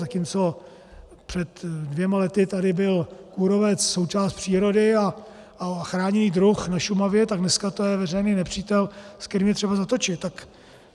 Zatímco před dvěma lety tady byl kůrovec součást přírody a chráněný druh na Šumavě, tak dneska to je veřejný nepřítel, s kterým je třeba zatočit.